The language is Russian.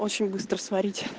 очень быстро сварить